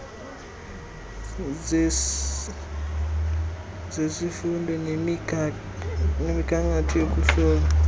zesifundo nemigangatho yokuhlola